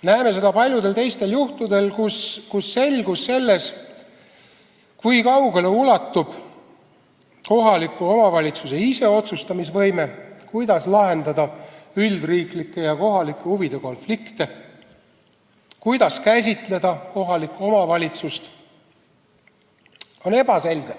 me näeme seda paljudel teistel juhtudel, kus see, kui kaugele ulatub kohaliku omavalitsuse iseotsustamise võime, kuidas lahendada üldriiklike ja kohalike huvide konflikte ning kuidas üldse käsitleda kohalikku omavalitsust, on ebaselge.